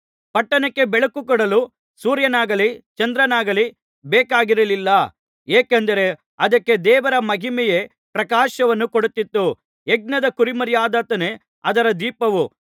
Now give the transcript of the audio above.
ಪಟ್ಟಣಕ್ಕೆ ಬೆಳಕು ಕೊಡಲು ಸೂರ್ಯನಾಗಲಿ ಚಂದ್ರನಾಗಲಿ ಬೇಕಾಗಿರಲಿಲ್ಲ ಏಕೆಂದರೆ ಅದಕ್ಕೆ ದೇವರ ಮಹಿಮೆಯೇ ಪ್ರಕಾಶವನ್ನು ಕೊಡುತ್ತಿತ್ತು ಯಜ್ಞದ ಕುರಿಮರಿಯಾದಾತನೇ ಅದರ ದೀಪವು